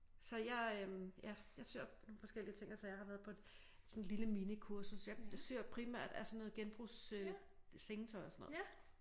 Så jeg øh ja jeg syr nogle forskellige ting og sager har været på sådan et lille mini kursus jeg syr primært af sådan noget genbrugs sengetøj og sådan noget